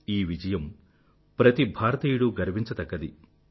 ఈ విజయం ప్రతి భారతీయుడూ గర్వించతగ్గది